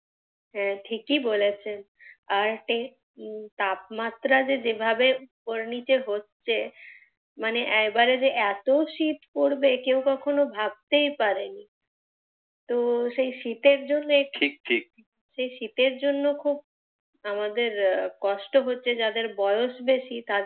শীত পড়বে কেউ কখনো ভাবতেই পারেনি তো সেই শীতের জন্যে, ঠিক ঠিক, সেই শীতের জন্যে খুব আমাদের কষ্ট হচ্ছে, যাদের বয়স বেশী তাদের,